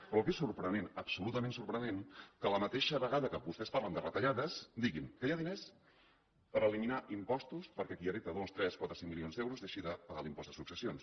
però el que és sorprenent absolutament sorprenent és que a la mateixa vegada que vostès parlen de retallades diguin que hi ha diners per eliminar impostos perquè qui hereta dos tres quatre o cinc milions d’euros deixi de pagar l’impost de successions